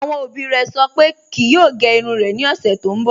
Awọn obì rẹ̀ sọ̀ pé kíì yòò gẹ̀ irùn rẹ̀ ni ọṣẹ̀ tó nbọ